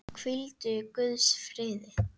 Hvíldu í Guðs friði.